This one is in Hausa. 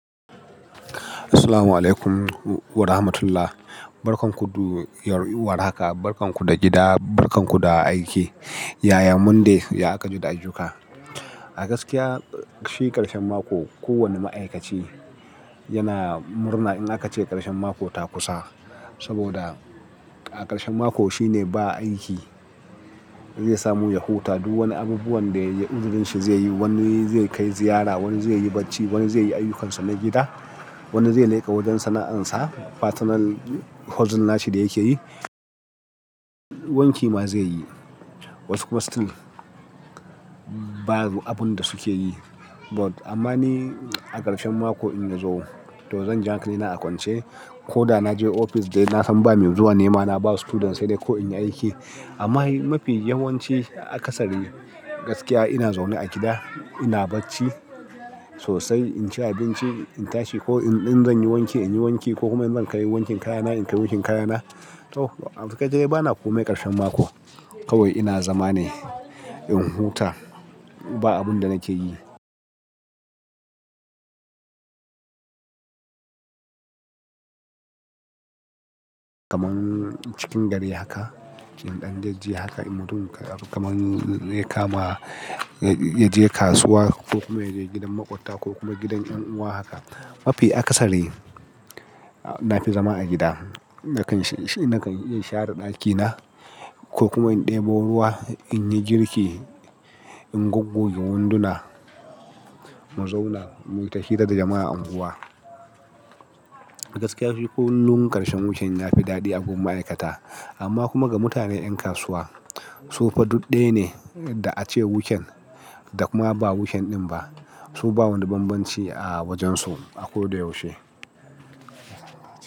Assalamualaikum warahmatullahi. Barkan ku du, war haka, barkan ku da gida, barkan ku da aiki. Yaya Monday ya aƙa ji da ayyuka? A gaskiya shi ƙarshen mako kowane ma'aikaci yana murna in aka ce ƙarshen mako ta kusa. Saboda a ƙarshen mako shi ne ba aiki zai samu ya huta. Du wani abubuwan da ya uzurin shi zai yi. Wani zai kai ziyara, wani zai yi bacci, wani zai yi ayyukansa na gida, wani zai leƙa wajen sana'ansa. Personal hustle nashi da yake yi. Wanki ma zai yi. Wasu kuma still ba abun da suke yi. But amma ni a ƙarshen mako in na zo to zan ji hankalina aƙwance ko da na je ofis dai na san ba me zuwa ne ma na ba su students sai dai ko in yi aiki. Amma mafi yawanci akasari gaskiya ina zaune a gida ina bacci sosai in ci abinci in tashi ko in zan yi wanki in yi wanki ko kuma in zan kai wankin kaya na in kai wankin kaya na. To amsga kai bana komai ƙarshen mako kawai ina zama ne in huta ba abun da nake yi. Kaman cikin gari haka, in ɗan jejje haka in mutum kamar ya kama ya je kasuwa ko kuma ya je gidan maƙwabta ko kuma gidan ƴan uwa haka. Mafi akasari na fi zama a gida. Nakan share ɗakina ko kuma in ɗebo ruwa, in yi girki, in goggoge wunduna, mu zauna mu yi ta hira da jama'a unguwa. A gaskiya kullum ƙarshen weekend ya fi daɗi agun ma'aikata amma kuma ga mutanen yan kasuwa su fa duk ɗaya ne da ace weekend da kuma ba weekend ɗin ba. Su ba wani bambanci a wajensu a ko da yaushe.